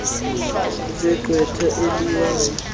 iingcebiso zegqwetha eliwayo